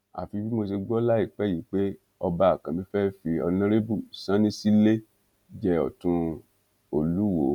àfi bí mo ṣe gbọ láìpẹ yìí pé ọba àkànbí fẹẹ fi ọnàrẹbù salinsílẹ jẹ ọtún olùwọọ